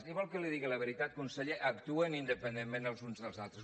i vol que li digui la veritat conseller actuen independentment els uns dels altres